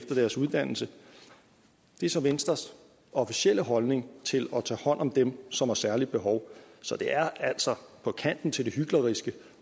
deres uddannelse det er så venstres officielle holdning til at tage hånd om dem som har særligt behov så det er altså på kanten til det hykleriske